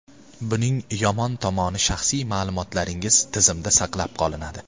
Buning yomon tomoni shaxsiy ma’lumotlaringiz tizimda saqlab qolinadi.